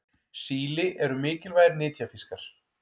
Síli eru mikilvægir nytjafiskar.